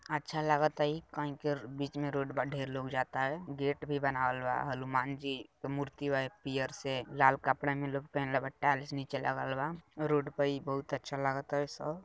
अच्छा लागत है कई के बीच में रोड बाटे लोग जाता है गेट भी बनावलवा हनुमान जी की मूर्ति पीयर से लाल कपड़ा में लोग पहनलवा टाईल्‍स नीचे लगनवा रोड भी बहुत अच्छा लागता सब।